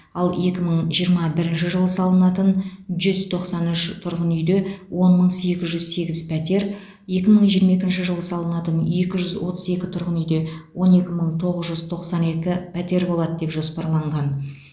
ал екі мың жиырма бірінші жылы салынатын жүз тоқсан үш тұрғын үйде он мың сегіз жүз сегіз пәтер екі мың жиырма екінші жылы салынатын екі жүз отыз екі тұрғын үйде он екі мың тоғыз жүз тоқсан екі пәтер болады деп жоспарланған